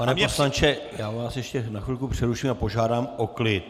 Pane poslanče, já vás ještě na chvilku přeruším a požádám o klid.